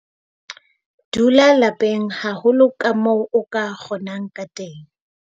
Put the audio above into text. Dula lapeng haholo kamoo o ka kgonang ka teng.